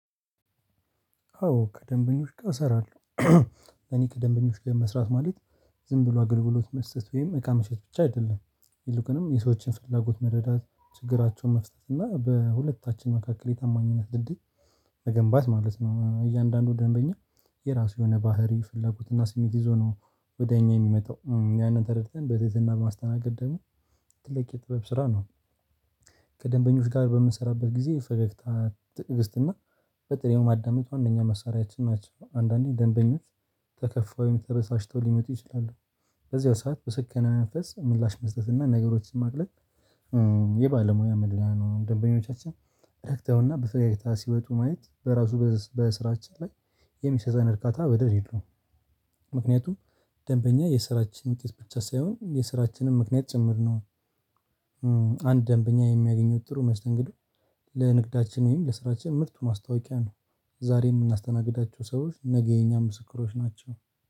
አዎ ከደንበኞች ጋር እሰራለሁ። በኔ ከደንበኞች ጋር መስራት ማለት ዝም ብሎ አገልግሎት መስጠት ወይም እቃ ምሽጥ ብቻ አይደለም። ይልቁንም የሰዎችን ፍላጎት መረዳት ችግራቸውን መፍጠር እና በሁለታችን መካከል የታማኝነት ድልድይ መገንባት ማለት ነው። እያንዳንዱ ደንበኛ የራሱ የሆነ ባህሪ ፍላጎት እና ስሜት ይዞ ነው ወደ እኛ የሚመጣው ያንን ተረድተን በትህትና በማስተናገድ ደግሞ ትልቅ የጥበብ ስራ ነው። ከደንበኞች ጋር በምንሰራበት ጊዜ የፈገግታ ትግእስት እና በጥሬው ማዳመጥ ዋናኛ መሳሪያችን ናቸው። አንዳንዴ ደንበኛ ተከፍተው ወይም ተበስጭተው ሊመጡ ይችላሉ። በዚያው ሰዓት በስከነ መንፈስ ምላሽ መስጠት እና ነገሮችን ማቅለል የባለሞያ መለያ ነው። ደንበኞቻችን ረክተውና በፈገግታ ሲወጡ ማየት በራሱ በስራችን ላይ የሚሰጠን እርካታ ወደር ዬለውም። ምክንያቱም ደንበኛ የስራችን ውጤት ብቻ ሳይሆን የስራችንም ምክንያት ጭምር ነው። አንድ ደንበኛ የሚያገኘው ጥሩ መስተንግዶ ለንግዳችን ወይም ለስራችን ምርጡ ማስታወቂያ ነው። ዛሬ የምናስተናግዳቸው ሰዎች ነገ የኛም ምስክሮች ናቸው